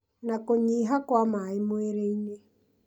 na kũnyiha kwa maĩ mwĩrĩ-inĩ,